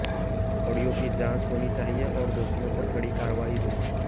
audio की जांच होनी चाहिए और दोषियों पर कड़ी कार्रवाई हो